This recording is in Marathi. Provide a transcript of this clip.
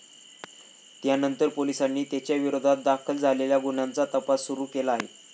त्यानंतर पोलिसांनी त्याच्याविरोधात दाखल झालेल्या गुन्ह्याचा तपास सुरू केला आहे.